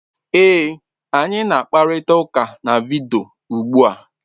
Ee, anyị na-akparịta ụka na vidiyo ugbu a.